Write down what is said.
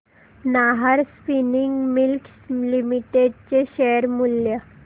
Nahar spinning mills limited चे share मूल्य